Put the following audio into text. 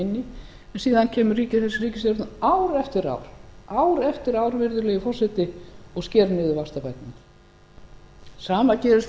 inn í og síðan kemur þessi ríkisstjórn ár eftir ár virðulegi forseti og sker niður vaxtabæturnar sama gerist